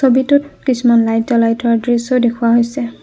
কিছুমান লাইট জ্বলাই থোৱাৰ দৃশ্যও দেখুওৱা হৈছে।